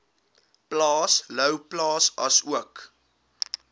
plaas louwplaas asook